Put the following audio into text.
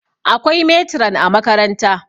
akwai meturan a makaranta